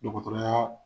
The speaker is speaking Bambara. Dɔgɔtɔrɔya